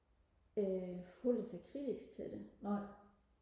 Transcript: øh forholder sig kritsk til det